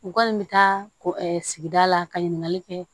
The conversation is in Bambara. U kɔni bɛ taa ko sigida la ka ɲininkali kɛ